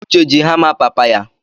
Uche ji hama papa ya